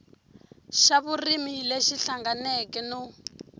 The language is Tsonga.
xa vurimi lexi hlanganeke no